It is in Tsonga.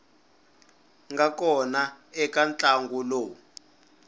nga kona eka ntlangu lowu